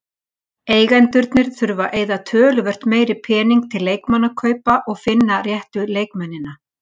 Eigendurnir þurfa að eyða töluvert meiri pening til leikmannakaupa og finna réttu leikmennina.